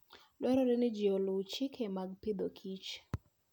Dwarore ni ji oluw chike mag Agriculture and Food.